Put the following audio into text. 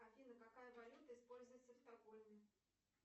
афина какая валюта используется в стокгольме